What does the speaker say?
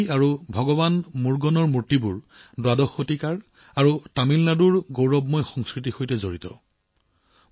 দেৱী আৰু ভগৱান মুৰ্গানৰ মূৰ্তি দ্বাদশ শতিকাৰ আৰু তামিলনাডুৰ চহকী সংস্কৃতিৰ সৈতে জড়িত